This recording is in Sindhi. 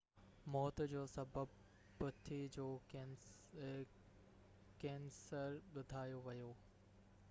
موت جو سبب پِتي جو ڪيئنسر ٻڌايو ويو